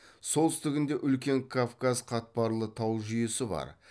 солтүстігінде үлкен кавказ қатпарлы тау жүйесі бар